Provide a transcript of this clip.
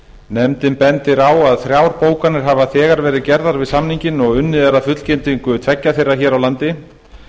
nefndin bendir á að þrjár bókanir hafa þegar verið gerðar við samninginn og unnið er að fullgildingu tveggja þeirra hér á landi